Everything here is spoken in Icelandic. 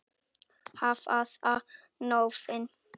Hvaða nöfn?